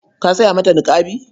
Ka saya mata niƙabi.